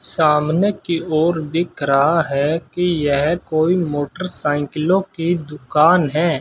सामने की ओर दिख रहा है कि यह कोई मोटरसाइकिलों की दुकान है।